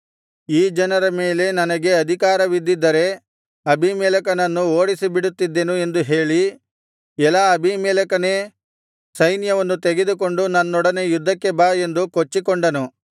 ಈ ಜನರ ಮೇಲೆ ನನಗೆ ಅಧಿಕಾರವಿದ್ದಿದ್ದರೆ ಅಬೀಮೆಲೆಕನನ್ನು ಓಡಿಸಿಬಿಡುತ್ತಿದ್ದೆನು ಎಂದು ಹೇಳಿ ಎಲಾ ಅಬೀಮೆಲೆಕನೇ ಸೈನ್ಯವನ್ನು ತೆಗೆದುಕೊಂಡು ನನ್ನೊಡನೆ ಯುದ್ಧಕ್ಕೆ ಬಾ ಎಂದು ಕೊಚ್ಚಿಕೊಂಡನು